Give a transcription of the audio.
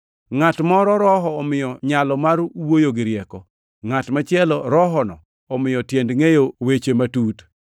Ngʼat moro Roho omiyo nyalo mar wuoyo gi rieko, ngʼat machielo Rohono omiyo tiend ngʼeyo weche matut.